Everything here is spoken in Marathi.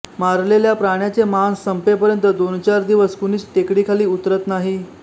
मारलेल्या प्राण्याचे मांस संपेपर्यंत दोनचार दिवस कुणीच टेकडीखाली उतरत नाही